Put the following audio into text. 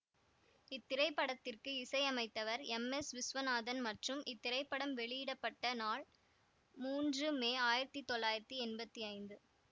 இத்திரைப்படத்திற்கு இசையமைத்தவர் M S Viswanathan மற்றும் இத்திரைப்படம் வெளியிட பட்ட நாள் மூன்று மே ஆயிரத்தி தொள்ளாயிரத்தி எம்பத்தி ஐந்து